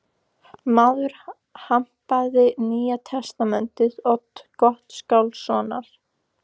Maðurinn hampaði Nýja testamenti Odds Gottskálkssonar.